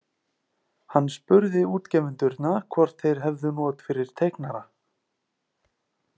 Hann spurði útgefendurna hvort þeir hefðu not fyrir teiknara.